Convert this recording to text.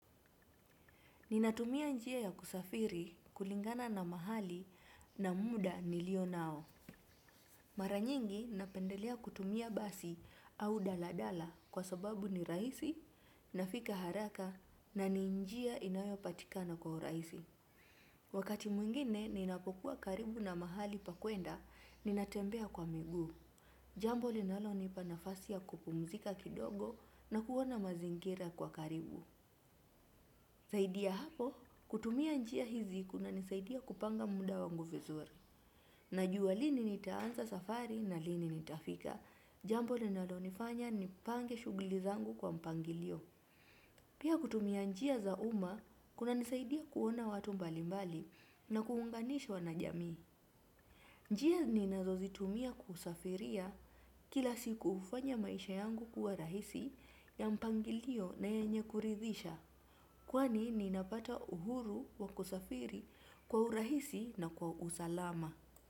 Ninatumia njia ya kusafiri kulingana na mahali na muda nilionao. Mara nyingi napendelea kutumia basi au daladala kwa sababu ni rahisi nafika haraka na ni njia inayopatikana kwa urahisi. Wakati mwingine ninapokuwa karibu na mahali pa kuenda ninatembea kwa miguu. Jambo linalonipa nafasi ya kupumzika kidogo na kuona mazingira kwa karibu. Zaidi ya hapo, kutumia njia hizi kunanisaidia kupanga muda wangu vizuri. Najua lini nitaanza safari na lini nitafika, jambo linalonifanya nipange shughuli zangu kwa mpangilio. Pia kutumia njia za umma, kunanisaidia kuona watu mbalimbali na kuunganishwa na jamii. Njia ninazozitumia kusafiria kila siku hufanya maisha yangu kuwa rahisi ya mpangilio na yenye kuridhisha. Kwani ninapata uhuru wa kusafiri kwa urahisi na kwa usalama.